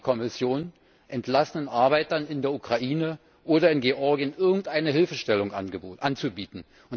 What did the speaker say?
Hat die Kommission entlassenen Arbeitern in der Ukraine oder in Georgien irgendeine Hilfestellung anzubieten?